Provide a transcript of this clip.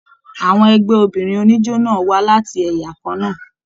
Àwọn ẹgbẹ obìnrin oníjó náà wá láti ẹyà kanna.